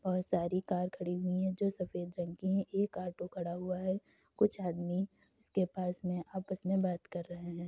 बहोत सारी कार खड़ी हुई हैं जो सफ़ेद रंग की हैं। एक ऑटो खड़ा हुआ है कुछ आदमी उसके पास में आपस में बात कर रहे हैं।